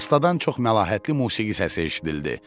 Astdan çox məlahətli musiqi səsi eşidildi.